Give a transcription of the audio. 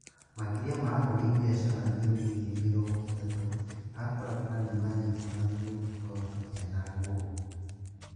Makĩria ma ahũri biacara anini ngiri mĩrongo ĩtatũ a barabara nĩ maanyitirũo na tũnyũmba twao tũkĩanangwo